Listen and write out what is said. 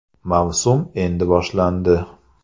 Mavsum endi boshlandi.